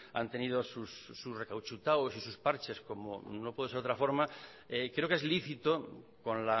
han tenido su recauchutados y sus parches como no puede ser de otra forma creo que es lícito con